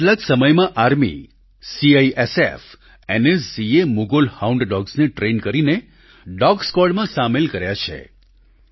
ગત કેટલાક સમયમાં આર્મી સીઆઈએસએફ એનએસજી એ મુઘોલ હાઉન્ડ ડોગ્સને ટ્રેન કરીને ડોગ સ્ક્વોડમાં સામેલ કર્યા છે